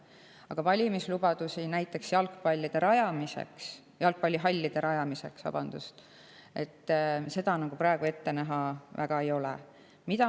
Aga valimislubadusi näiteks jalgpallihallide rajamiseks praegu ette näha väga ei ole.